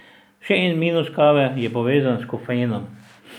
Še en minus kave je povezan s kofeinom.